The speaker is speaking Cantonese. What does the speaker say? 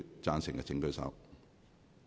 贊成的請舉手。